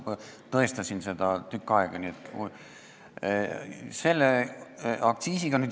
Ma tõestasin seda tükk aega.